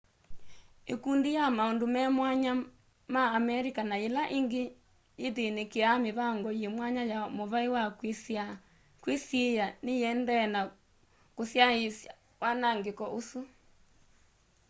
ikundi ya maundu me mwanya ma amerika na yila ingi ythinikiaa mivango yi mwanya ya muvai wa kwisiia niyiendee na kusyaiisya wanangiko usu